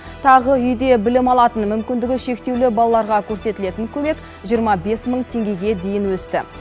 тағы үйде білім алатын мүмкіндігі шектеулі балаларға көрсетілетін көмек жиырма бес мың теңгеге дейін өсті